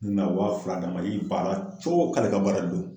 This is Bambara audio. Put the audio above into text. N kun bi na waa fila d'a ma ay' i b'an a la k' ale ka baara de don